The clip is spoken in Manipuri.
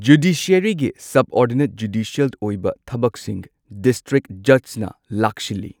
ꯖꯨꯗꯤꯁꯤꯌꯔꯤꯒꯤ ꯁꯕꯑꯣꯔꯗꯤꯅꯦꯠ ꯖꯨꯗꯤꯁꯤꯑꯦꯜ ꯑꯣꯏꯕ ꯊꯕꯛꯁꯤꯡ ꯗꯤꯁꯇ꯭ꯔꯤꯛ ꯖꯖꯅ ꯂꯥꯛꯁꯤꯜꯂꯤ꯫